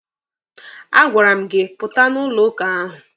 A gwara m gị pụta na ụlọ ụka ahụ!